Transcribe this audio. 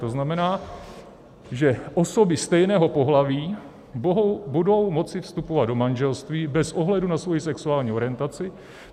To znamená, že osoby stejného pohlaví budou moci vstupovat do manželství bez ohledu na svoji sexuální orientaci.